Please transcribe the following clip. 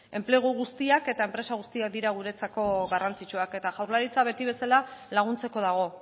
enplegu guztiak eta enpresa guztiak dira guretzako garrantzitsuak eta jaurlaritza beti bezala laguntzeko dago